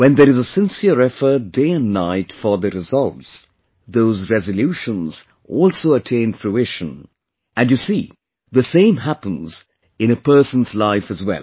When there is a sincere effort day and night for the resolves, those resolutions also attain fruition... and you see, the same happens in a person's life as well